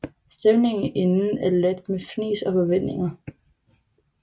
Stemningen inden er ladet med fnis og forventninger